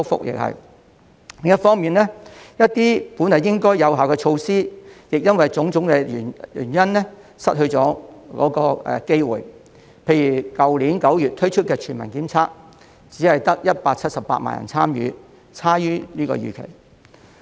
另一方面，一些本來應該有效的措施因為種種原因失去了機會，例如去年9月推出的全民檢測只得178萬人參與，差於預期。